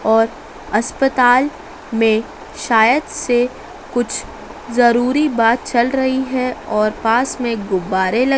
और अस्पताल में शायद से कुछ जरूरी बात चल रही है और पास में गुब्बारे लग--